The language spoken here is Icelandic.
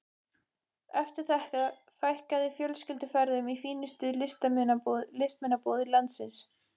Eftir þetta fækkaði fjölskylduferðunum í fínustu listmunabúðir landsins.